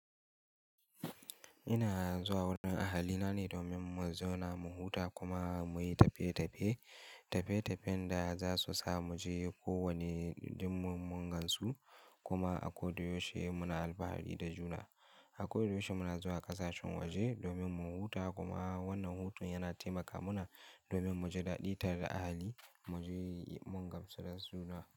Ina zuwa wurin ahalina ne domin mu zauna mu huta kuma muyi tafiye-tafiye. Tafiye-tafiyen da za su sa mu je kowane indin mun gansu kuma a kodayaushe muna alfahari da juna. A koyaushe muna zuwa ƙasashen waje domin mu huta kuma wannan hutun yana taimaka mana domin mu ji daɗi tare da ahali mu je mun gamsu da juna.